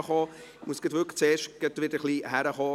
Ich muss zuerst wieder ankommen.